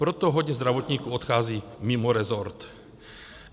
Proto hodně zdravotníků odchází mimo rezort.